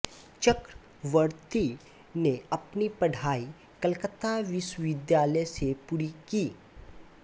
चक्रवर्ती ने अपनी पढ़ाई कलकत्ता विश्वविद्यालय से पूरी की